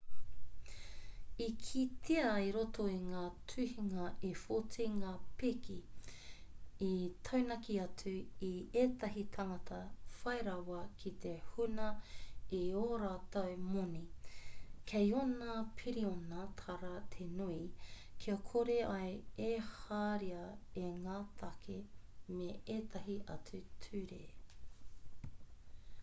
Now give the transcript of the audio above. i kitea i roto i ngā tuhinga e 14 ngā pēke i taunaki atu i ētahi tāngata whai rawa ki te huna i ō rātou moni kei ōna piriona tāra te nui kia kore ai e herea e ngā tāke me ētahi atu ture